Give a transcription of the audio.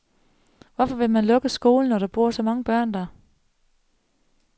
Hvorfor vil man lukke skolen, når der bor så mange børn der?